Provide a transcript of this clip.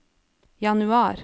januar